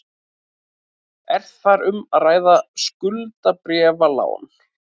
Er þar um að ræða skuldabréfalán